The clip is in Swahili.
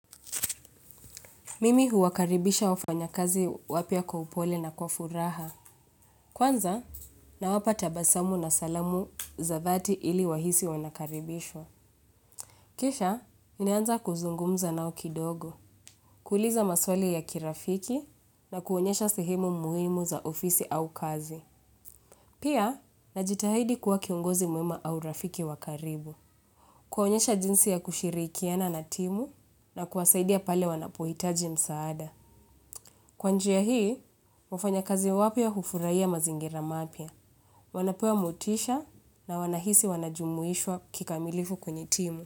Mimi huwakaribisha wafanyakazi wapya kwa upole na kwa furaha. Kwanza nawapa tabasamu na salamu za dhati ili wahisi wanakaribishwa. Kisha, ninaanza kuzungumza nao kidogo. Kuuliza maswali ya kirafiki na kuonyesha sehemu muhimu za ofisi au kazi. Pia, najitahidi kuwa kiongozi muhimu au rafiki wa karibu. Kuonyesha jinsi ya kushirikiana na timu na kuwasaidia pale wanapohitaji msaada. Kwa njia hii, wafanya kazi wapya hufurahia mazingira mapya. Wanapewa motisha na wanahisi wanajumuishwa kikamilifu kwenye timu.